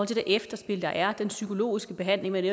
til det efterspil der er den psykologiske behandling man